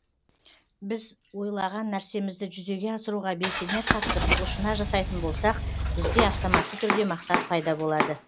біз ойлаған нәрсемізді жүзеге асыруға белсене қатысып құлшына жасайтын болсақ бізде автоматты түрде мақсат пайда болады